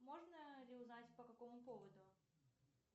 можно ли узнать по какому поводу